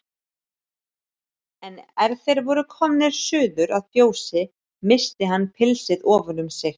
En er þeir voru komnir suður að fjósi missti hann pilsið ofan um sig.